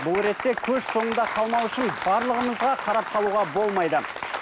бұл ретте көш соңында қалмау үшін барлығымызға қарап қалуға болмайды